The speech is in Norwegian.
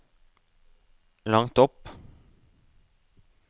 langt opp